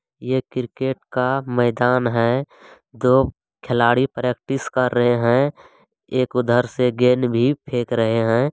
ये क्रिकेट का मैदान है दो खेलाड़ी प्रेक्टिस कर रहे है एक उधर से गेंद भी फेक रहे है।